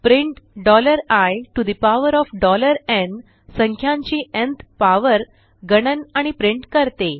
print iन् संख्यांची nth power गणन आणि प्रिंट करते